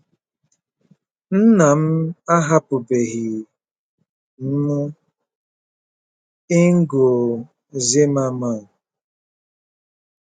“ Nna m ahapụbeghị m.”— INGO ZIMMERMANN